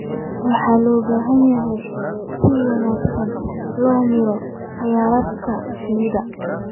Waxaa loo baahan yahay in si wanaagsan loo maareeyo kheyraadka shinnida.